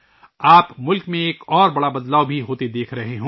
آپ ملک میں ایک اور بڑی تبدیلی ہوتے ہوئے دیکھ رہے ہوں گے